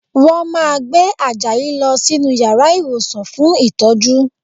Wọ́n máa gbé Àjàyí lọ sínú yàrá ìwòsàn fún ìtọ́jú